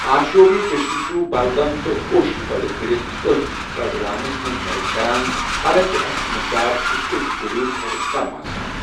آشوب چشم چھُ بلغم تہٕ اوٚش پٲدٕ کٔرِتھ أچھ پرزلاونس منٛز مدد کران، حالانٛکہ اشُک مقدار چھِ اوٚش غدوٗد کھۄتہٕ کم آسان۔